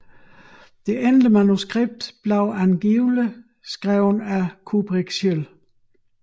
Det endelige manuskript blev angiveligt skrevet af Kubrick selv